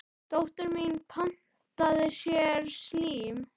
Dóttir mín pantaði sér slím.